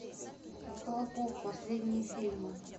михалков последние фильмы